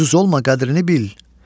ucuz olma qədrini bil.